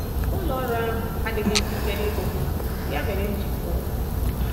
Ụlọ ọrụ ahụ adịghị njikere igbo mkpa m, ya mere m ji pụọ.